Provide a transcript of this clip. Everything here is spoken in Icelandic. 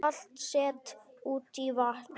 Salt sett út í vatn